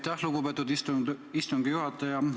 Aitäh, lugupeetud istungi juhataja!